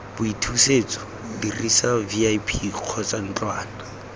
boithusetso dirisa vip kgotsa ntlwana